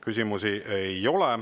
Küsimusi ei ole.